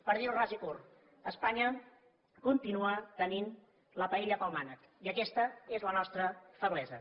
per dir ho ras i curt espanya continua tenint la paella pel mànec i aquesta és la nostra feblesa